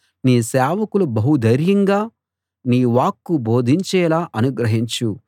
నీ సేవకులు బహు ధైర్యంగా నీ వాక్కు బోధించేలా అనుగ్రహించు